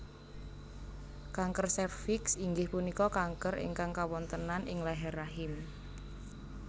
Kanker sèrviks inggih punika kanker ingkang kawontenan ing leher rahim